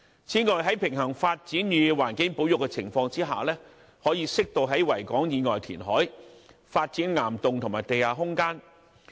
此外，在平衡發展與環境保育的情況下，可適度在維港以外填海，發展岩洞和地下空間。